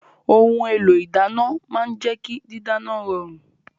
Ohun èlò ìdáná máa ń jẹ́ kí dídáná rọrùn